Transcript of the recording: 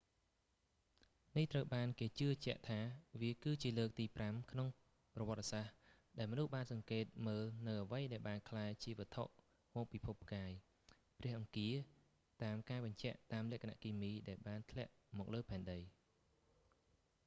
នេះត្រូវបានគេជឿជាក់ថា វា គឺជាលើកទីប្រាំនៅក្នុងប្រវត្ដិសាស្ដ្រ ដែលមនុស្សបានសង្កេតមើលនូវអ្វីដែលបានក្លាយជាវត្ថុមកពីភពផ្កាយព្រះអង្គារតាមការបញ្ជាក់តាមលក្ខណៈគីមី ដែលបានធ្លាក់មកលើផែនដី